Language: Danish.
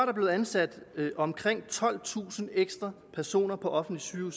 er blevet ansat omkring tolvtusind ekstra personer på offentlige